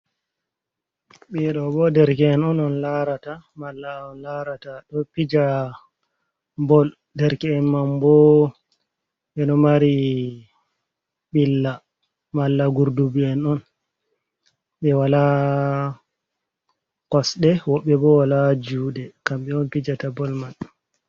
Ɓiɗo bo derke'en on on larata malla on larata ɗo pija bol, derke’en man bo ɓeɗo mari ɓilla, malla gurdubi'en on be wala kosɗe, woɓɓe bo wala juɗe kambe on pijata bol maɓɓe.